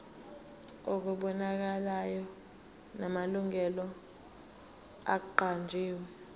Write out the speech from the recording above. okubonakalayo namalungu aqanjiwe